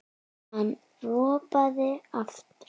Hann ropaði aftur.